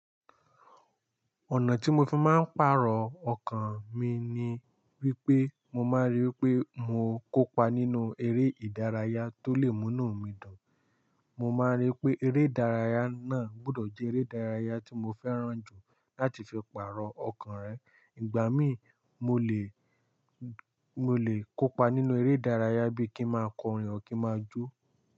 Ọ̀nà tí mo fi máa ń pàrọ̀ ọkàn mi ni wípé mo máa rí wípé mo kópa nínú eré ìdárayá tó lè múnú mi dùn. Mo máa rí pé eré ìdárayá náà gbọdọ̀ jẹ́ eré ìdárayá tí mo fẹ́ràn jù láti fi pàrọ̀ ọkàn rẹ. Ìgbà mí mo lè, mo lè kópa nínú eré ìdárayá bí kí ma kọrin ọ́ kí máa jó.